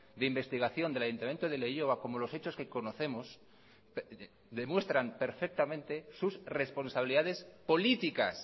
de investigación del ayuntamiento de leioa como los hechos que conocemos demuestran perfectamente sus responsabilidades políticas